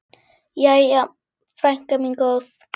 Jæja, frænka mín góð.